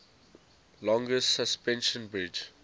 longest suspension bridge